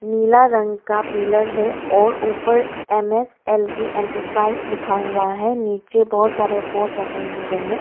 नीला रंग का पिलर है और ऊपर M S L T enterprise लिखा हुआ है नीचे बहोत सारे बोर्ड रखे हुए हैं।